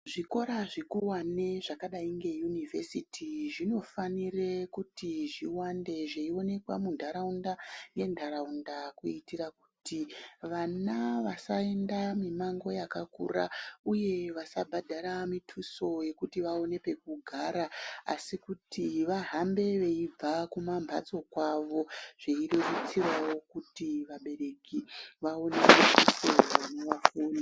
Zvikora zvikuwane zvakadai ngeyunivhesiti zvinofanire kuti zviwande zveiwanikwe muntaraunda nentaraunda kuutira kuti vana vasaenda mimango yakakura uye vasabhadhara mituso yekuti vaone pekugara asi kuti vahambe veibva kumambatso kwavo zveibetserawo kuti vabereki vaone kuti vana vafunde.